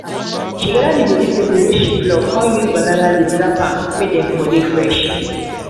she gather the vegetables wey she pluck con use banana leaves wrap am may dey for dey fresh.